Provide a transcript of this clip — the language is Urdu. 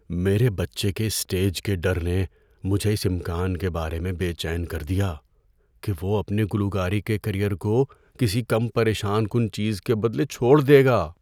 میرے بچے کے اسٹیج کے ڈر نے مجھے اس امکان کے بارے میں بے چین کر دیا کہ وہ اپنے گلوکاری کے کیریئر کو کسی کم پریشان کن چیز کے بدلے چھوڑ دے گا۔